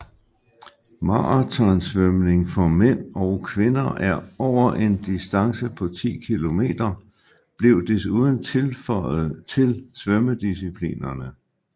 Marathonsvømning for mænd og kvinder over en distance på 10 km blev desuden tilføjet til svømmedisciplinerne